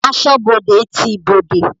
Asọ́bodè ti ibodè.